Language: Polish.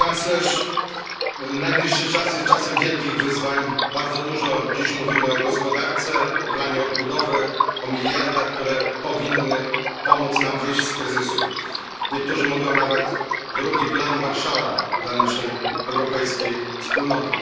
Pani Przewodnicząca! Szanowna Pani Kanclerz! Najbliższy czas jest czasem wielkich wyzwań. Bardzo dużo dziś mówimy o gospodarce, o planie odbudowy, o miliardach, które powinny pomóc nam wyjść z kryzysu. Niektórzy mówią nawet drugi plan Marshalla dla naszej europejskiej wspólnoty.